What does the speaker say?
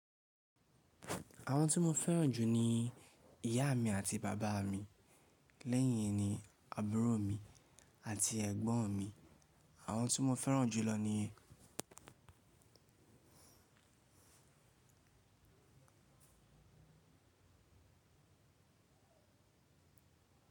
Àwọn tí mo fẹ́ràn jù ni ìyá mí àti baba mí, lẹ́yìn ní àbúrò mi àti ẹ̀gbọ́n mi. Àwọn tí mo fẹ́ràn jù lọ ni.